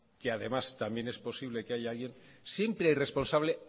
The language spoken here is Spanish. y además también es posible que haya alguien siempre hay responsable